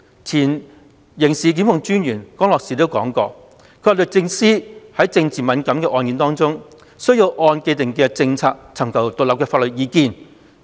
前刑事檢控專員江樂士亦表示，律政司在政治敏感的案件中須按既定政策，尋求獨立法律意見。